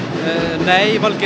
nei ekki